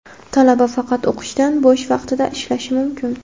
talaba faqat o‘qishdan bo‘sh vaqtida ishlashi mumkin.